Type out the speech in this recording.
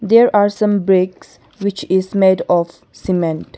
There are some bricks which is made of cement.